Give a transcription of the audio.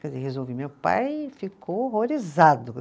Quer dizer, resolvi, meu pai ficou horrorizado.